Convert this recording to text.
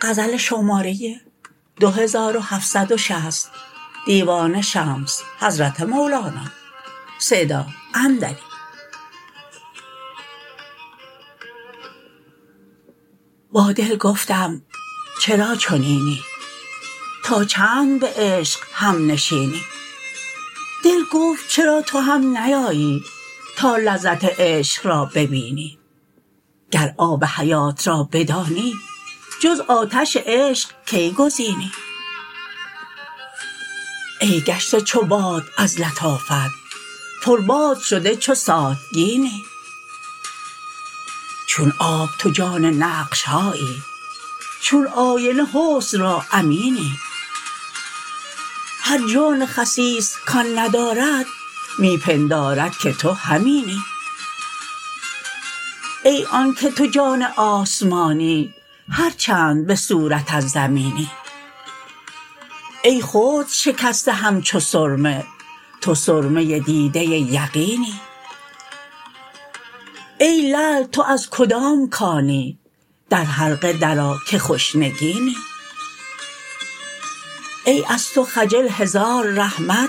با دل گفتم چرا چنینی تا چند به عشق همنشینی دل گفت چرا تو هم نیایی تا لذت عشق را ببینی گر آب حیات را بدانی جز آتش عشق کی گزینی ای گشته چو باد از لطافت پرباد شده چو ساتگینی چون آب تو جان نقش هایی چون آینه حسن را امینی هر جان خسیس کان ندارد می پندارد که تو همینی ای آنک تو جان آسمانی هر چند به صورت از زمینی ای خرد شکسته همچو سرمه تو سرمه دیده یقینی ای لعل تو از کدام کانی در حلقه درآ که خوش نگینی ای از تو خجل هزار رحمت